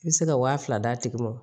N bɛ se ka wa fila d'a tigi ma